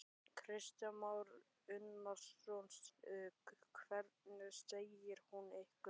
Kristján Már Unnarsson: Hvað segir hún ykkur?